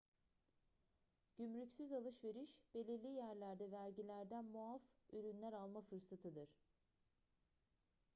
gümrüksüz alışveriş belirli yerlerde vergilerden muaf ürünler alma fırsatıdır